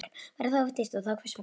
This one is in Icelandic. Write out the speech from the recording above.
Væri það of dýrt og þá hvers vegna?